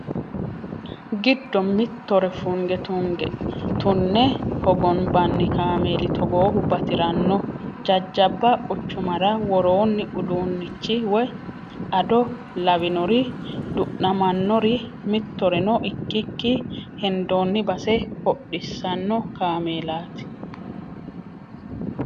Giddo mittore funge tune hogombanni kaameeli togoohu batirano jajjabba quchumara woroni uduunchi woyi ado lawinori du'namanori mittoreno ikkikki hendonni base hodhisano kaameelati.